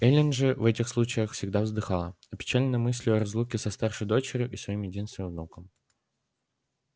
эллин же в этих случаях всегда вздыхала опечаленная мыслью о разлуке со старшей дочерью и своим единственным внуком